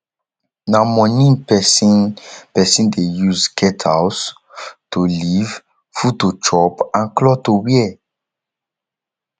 na money persin persin de use get house to live food to chop and cloth to wear